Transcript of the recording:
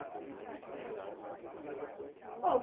E o que que mudou para cá?